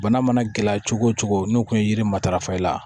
Bana mana gɛlɛya cogo o cogo n'u kun ye yiri matarafa i la